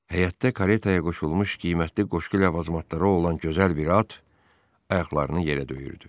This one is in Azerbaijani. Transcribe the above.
Həyətdə karetaya qoşulmuş qiymətli qoşqu ləvazimatları olan gözəl bir at ayaqlarını yerə döyürdü.